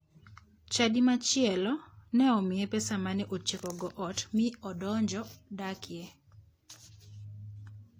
Chadi machielo ne omiye pesa mane otiekogo ot mi odonjo dakie.